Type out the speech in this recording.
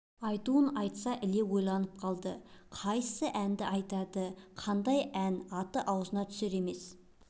айтуын айтса да іле ойланып қалды қайсы әнді айтады ешқандай әннің аты аузына түсер емес